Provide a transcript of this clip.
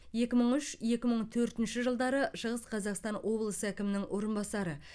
екі мың үш екі мың төртінші жылдары шығыс қазақстан облысы әкімінің орынбасары